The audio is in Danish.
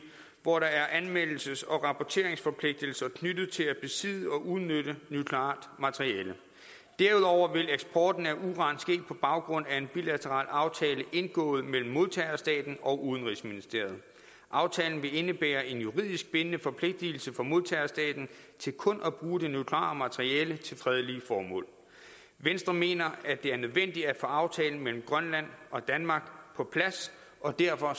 hvor der er anmeldelses og rapporteringsforpligtelser knyttet til at besidde og udnytte nukleart materiale derudover vil eksporten af uran ske på baggrund af en bilateral aftale indgået mellem modtagerstaten og udenrigsministeriet aftalen vil indebære en juridisk bindende forpligtelse for modtagerstaten til kun at bruge det nukleare materiale til fredelige formål venstre mener at det er nødvendigt at få aftalen mellem grønland og danmark på plads og derfor